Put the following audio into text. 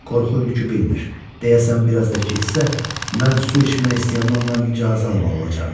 Qorxu hürkü bilmir, deyəsən biraz da keçsə, mən su içmək istəyəndə ondan icazə almalı olacam.